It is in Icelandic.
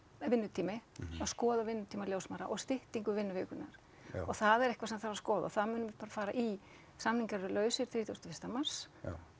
vinnutími að skoða vinnutíma ljósmæðra og styttingu vinnuvikunnar og það er eitthvað sem þarf að skoða og það munum við bara fara í samningar eru lausir þrítugasta og fyrsta mars